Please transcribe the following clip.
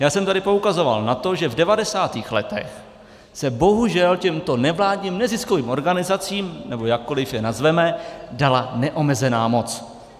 Já jsem tady poukazoval na to, že v 90. letech se bohužel těmto nevládním neziskovým organizacím, nebo jakkoliv je nazveme, dala neomezená moc.